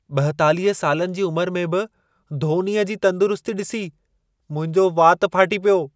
42 सालनि जी उमिरि में बि धोनीअ जी तंदुरुस्ती ॾिसी मुंहिंजो वात फाटी पियो।